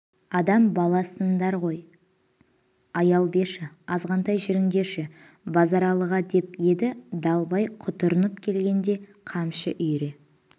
адам баласындар ғой аял берші азғантай жүріндерші базаралыға деп еді далбай құтырынып келденге де қамшы үйіре